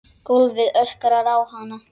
Gólfið öskrar á hana.